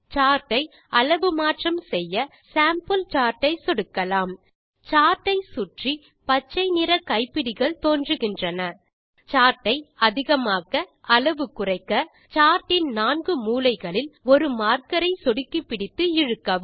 chart ஐ அளவு மாற்றம் செய்ய சேம்பிள் சார்ட் ஐ சொடுக்கலாம் சார்ட் ஐ சுற்றி பச்சை நிற கைப்பிடிகள் தோன்றுகின்றன சார்ட் இன் அதிகமாக்க அளவு குறைக்க சார்ட் இன் நான்கு மூலைகளில் ஒரு மார்க்கரை சொடுக்கிப்பிடித்து இழுக்கவும்